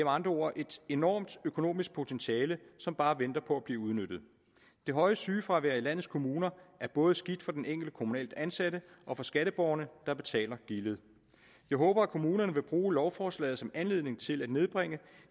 andre ord et enormt økonomisk potentiale som bare venter på at blive udnyttet det høje sygefravær i landets kommuner er både skidt for den enkelte kommunalt ansatte og for skatteborgerne der betaler gildet jeg håber at kommunerne vil bruge lovforslaget som anledning til at nedbringe